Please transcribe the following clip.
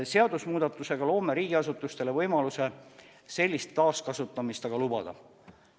Seadusemuudatusega loome riigiasutustele võimaluse sellist taaskasutamist aga lubada.